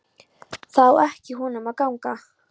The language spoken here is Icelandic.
Það á ekki af honum að ganga.